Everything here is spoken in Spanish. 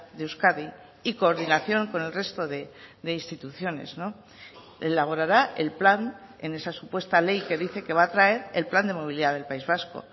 de euskadi y coordinación con el resto de instituciones elaborará el plan en esa supuesta ley que dice que va a traer el plan de movilidad del país vasco